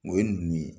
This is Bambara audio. O ye ninnu ye